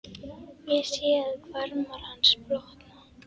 Ég sé að hvarmar hans blotna.